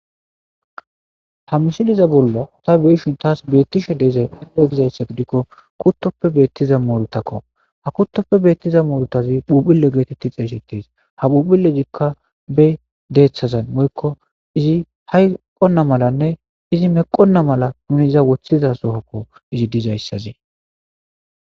ha mishiliza bollo ta be'ishin taas beettishe deezae gizayssa gidikko kuttoppe beettiza moorutakko ha kuttoppe beettiza moorutazi phuphile geetetti xeeshetes ha phuphilezikka be deeththazan moykko izi hayqonna malanne izi meqonna mala nuniza woththiza sohokko izi dizayssazee